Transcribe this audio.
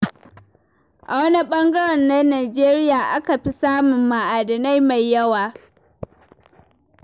A wane ɓangare na Najeriya aka fi samun ma'adinai mai yawa?